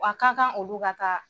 Wa ka kan olu ka taa